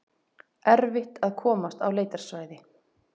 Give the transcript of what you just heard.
Erfitt að komast á leitarsvæði